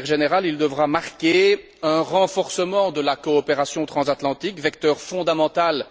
De manière générale, il devra marquer un renforcement de la coopération transatlantique, vecteur fondamental